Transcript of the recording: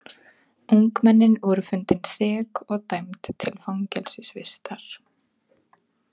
Ungmennin voru fundin sek og dæmd til fangelsisvistar.